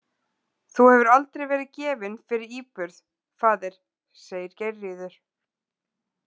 Þú hefur aldrei verið gefinn fyrir íburð, faðir, segir Geirríður.